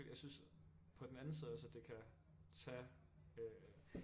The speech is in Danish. Jeg synes så på den anden side at det kan tage øh